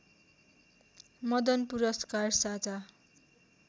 मदन पुरस्कार साझा